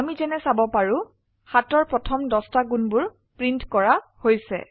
আমি যেনে চাব পাৰো 7অৰ প্ৰথম 10টা গুণবোৰ প্ৰিন্ট কৰা হৈছে